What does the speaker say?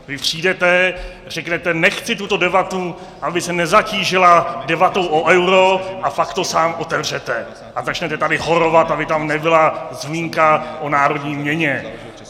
Vy přijdete, řeknete "nechci tuto debatu, aby se nezatížila debatou o euru", a pak to sám otevřete a začnete tady horovat, aby tam nebyla zmínka o národní měně.